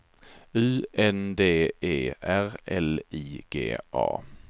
U N D E R L I G A